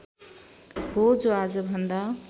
हो जो आजभन्दा